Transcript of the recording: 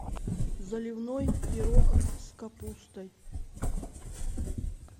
заливной пирог с капустой